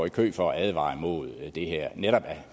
i kø for at advare imod det her netop af